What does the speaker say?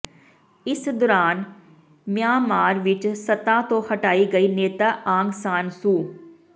ਇਸ ਦੌਰਾਨ ਮਿਆਂਮਾਰ ਵਿਚ ਸੱਤਾ ਤੋਂ ਹਟਾਈ ਗਈ ਨੇਤਾ ਆਂਗ ਸਾਨ ਸੂ